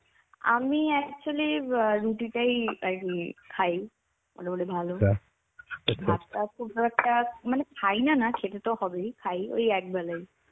আমি actually অ্যাঁ রুটি টাই আর কি খাই মোটামুটি ভালো. ভাত টা খুব ভালো একটা মানে খাইনা না খেতে তো হবেই, খাই ওই এক বেলায়.